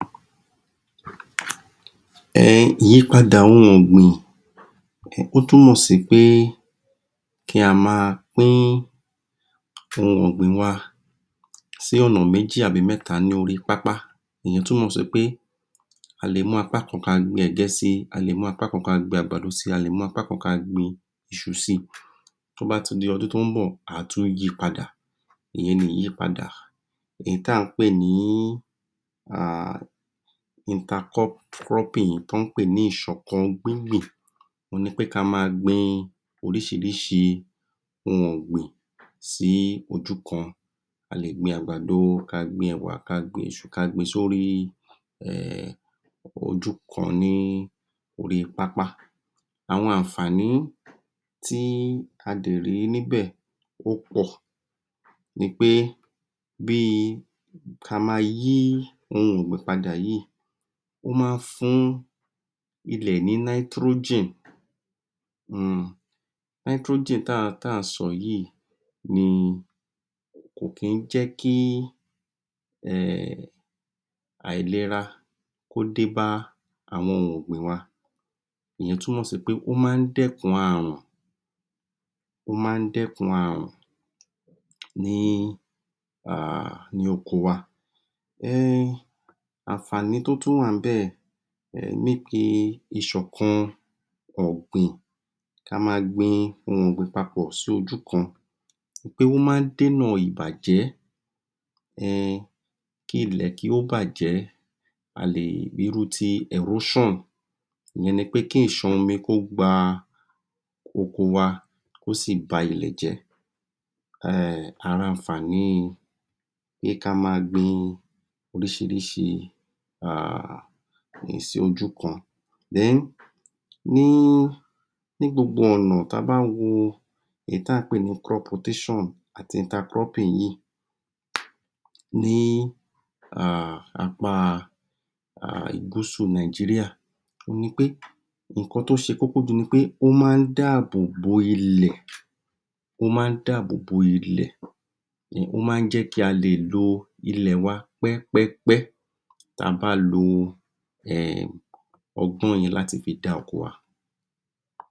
Ẹhn, ìyípadà ohun ọgbìn, ó túmọ̀ sí pé kí a máa pín ohun ọgbìn wa si ọ̀nà méjì àbí mẹ́ta ni orí pàápàá, ìyẹn túmọ̀ sí a lè mú apá kan kí a gbìn ẹ̀gẹ́ si, a lè mú apá kan kí a fi àgbàdo si, a lè mú apá kan kí a fi iṣu si, tí ó bá a ti di ọdún tí ó ń bọ̀ á tún yi padà ìyẹn ni ìyípadà, èyí tí a ń pé ní Inter-cropping, tí wọ́n ń pè ní ìṣọ̀kàngbíngbìn ohun pé kí a máa gbìn oríṣiríṣi ohun ọgbìn sí ojú kan, a lè gbìn àgbàdo, kí a gbìn ẹwà, kí a gbìn iṣu sórí ojú kan ni orí pápá. Àwọn àǹfààní tí a lè rí níbẹ̀ ó pọ̀ ní pé bí kí a máa yí ohun ọgbìn padà yìí, ó máa ń fún ilẹ̀ ni Nitrogen, Nitrogen tí a ń sọ yìí ni kò kì í jẹ ki ehn, àìlera kí ó dé bá àwọn ohun ọgbìn wa, ìyẹn túmọ̀ sí pé ó máa ń dẹkùn àrùn, ó máa ń dẹkùn àrùn, ní oko wa. Àǹfààní tí ó tún wá níbẹ̀ níbi ìṣọ̀kàn-ọ̀gbìn, kí a máa gbìn ohun ọgbìn pàpọ̀ sójú kan pé ó máa ń dènà ìbàjẹ́, ehn, kí ilẹ̀ kí ó bàjẹ́, a lè rí irú tí Erosion ìyẹn ni pé kí ìṣan-omi kí ó gba oko wa kí ó sí bá ilẹ̀ jẹ́, ara àǹfààní pé kí a gbìn oríṣiríṣi ohun ọgbìn sójú kan. Then, ní gbogbo ọ̀nà tí a bá ń wo èyí tí a ń pé ní Crop-rotation àti Inter-cropping yìí ní apá Gúúsù Nàìjíríà ohun ni pé, nǹkan tí ó ṣe kókó ju ní pé ó máa ń dáàbò bo ilẹ̀, ó máa ń dáàbò bo ilẹ̀, o máa ń jẹ ki a le lò ilẹ̀ wa pẹ́pẹ́pẹ́ tí a bá lo ehn ọgbọ́n yìí láti fi dá oko wa.